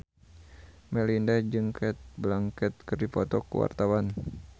Melinda jeung Cate Blanchett keur dipoto ku wartawan